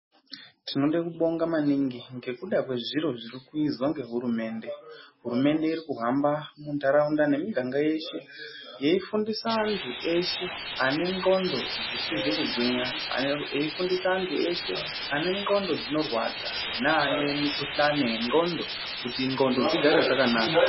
Tinoda kubonga maningi nekuda kwezviro zviri kuizwa ngehurumende. Hurumende iri kuhamba muntharaunda nemiganga yeshe, yeifundisa antu eshe, ane ngqondo dzisizi kugwinya, eifundisa antu eshe ane ngqondo dzinorwadza neane mikuhlani yengqondo, kuti ngqondo dzigare dzakanaka.